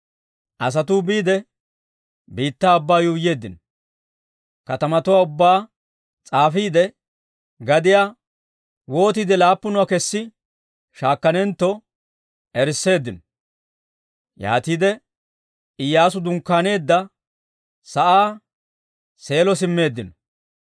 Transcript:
Asatuu biide, biittaa ubbaa yuuyyeeddino. Katamatuwaa ubbaa s'aafiide, gadiyaa wootiide laappunuwaa kessi shaakkanentto erisseeddino. Yaatiide Iyyaasu dunkkaaneedda sa'aa Seelo simmeeddino.